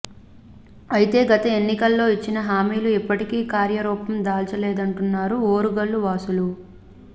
అయితే గత ఎన్నికల్లో ఇచ్చిన హామీలు ఇప్పటికీ కార్యరూపం దాల్చలేదంటున్నారు ఓరుగల్లు వాసులు